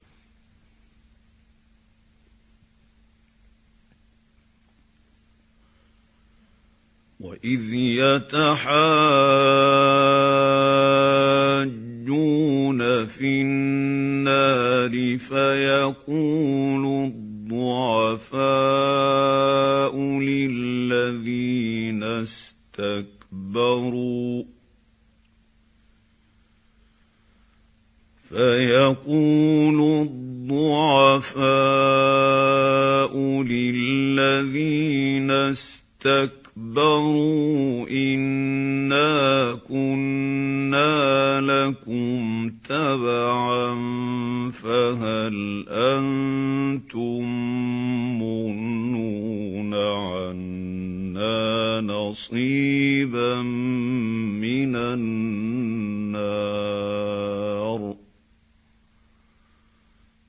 وَإِذْ يَتَحَاجُّونَ فِي النَّارِ فَيَقُولُ الضُّعَفَاءُ لِلَّذِينَ اسْتَكْبَرُوا إِنَّا كُنَّا لَكُمْ تَبَعًا فَهَلْ أَنتُم مُّغْنُونَ عَنَّا نَصِيبًا مِّنَ النَّارِ